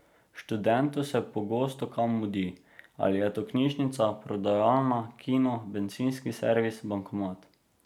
Študentu se pogosto kam mudi, ali je to knjižnica, prodajalna, kino, bencinski servis, bankomat ...